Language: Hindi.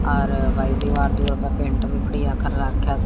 आर भाई दिवार दीवार का पेंट भी बढ़िया कर रख्या से--